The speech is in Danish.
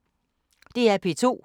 DR P2